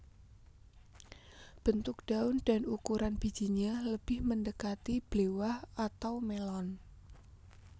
Bentuk daun dan ukuran bijinya lebih mendekati blewah atau melon